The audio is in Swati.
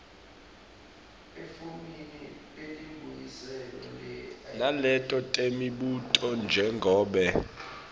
naleto temibuto njengobe